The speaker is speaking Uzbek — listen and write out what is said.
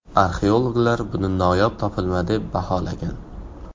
Arxeologlar buni noyob topilma deb baholagan.